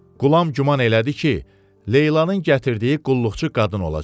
Qulam güman elədi ki, Leylanın gətirdiyi qulluqçu qadın olacaq.